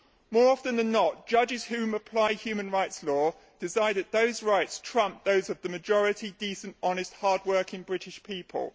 More often than not, judges who apply human rights law decide that those rights trump those of the majority decent, honest, hard working British people.